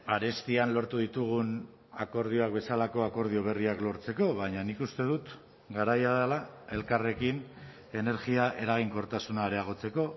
arestian lortu ditugun akordioak bezalako akordio berriak lortzeko baina nik uste dut garaia dela elkarrekin energia eraginkortasuna areagotzeko